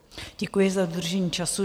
Děkuji za dodržení času.